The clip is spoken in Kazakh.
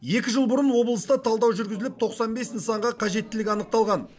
екі жыл бұрын облыста талдау жүргізіліп тоқсан бес нысанға қажеттілік анықталған